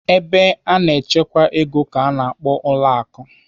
Ebe a na-echekwa ego ka a na-akpọ ụlọ akụ.